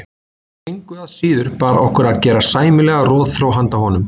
Engu að síður bar okkur að gera sæmilega rotþró handa honum.